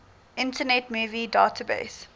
internet movie database